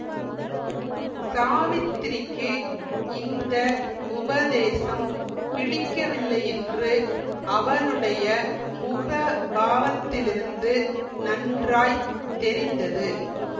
சாவித்திரிக்கு இந்த உபதேசம் பிடிக்கவில்லையென்று அவளுடைய முக பாவத்திலிருந்து நன்றாய் தெரிந்தது